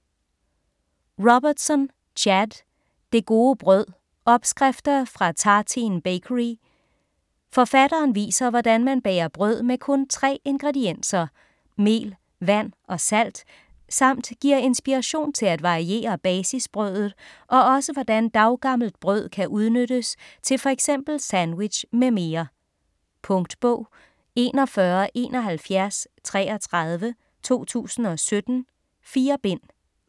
Robertson, Chad: Det gode brød: opskrifter fra Tartine Bakery Forfatteren viser hvordan man bager brød af kun tre ingredienser: mel, vand og salt samt giver inspiration til at variere basisbrødet og også hvordan daggammelt brød kan udnyttes til f.eks. sandwich m.m. Punktbog 417133 2017. 4 bind.